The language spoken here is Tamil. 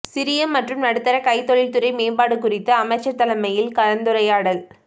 சிறிய மற்றும் நடுத்தர கைத்தொழில்துறை மேம்பாடு குறித்து அமைச்சர் தலைமையில் கலந்துரையாடல்